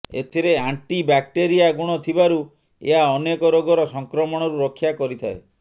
ଏଥିରେ anti bacteria ଗୁଣ ଥିବାରୁ ଏହା ଅନେକ ରୋଗର ସଂକ୍ରମଣରୁ ରକ୍ଷା କରିଥାଏ